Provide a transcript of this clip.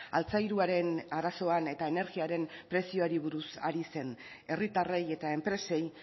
altzairuaren arazoan eta energiaren prezioari buruz ari zen herritarrei eta enpresei